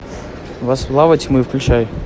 во славу тьмы включай